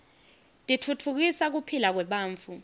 titfutfukisa kuphila kwebantfu